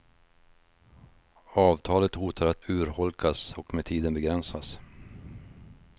Avtalet hotar att urholkas och med tiden begränsas.